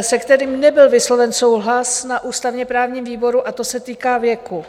se kterým nebyl vysloven souhlas na ústavně-právním výboru, a to se týká věku.